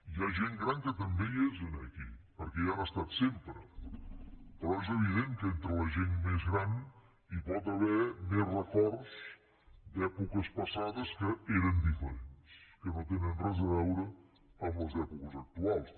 hi ha gent gran que també hi és aquí perquè hi han estat sempre però és evident que entre la gent més gran hi pot haver més records d’èpoques passades que eren diferents que no tenen res a veure amb les èpoques actuals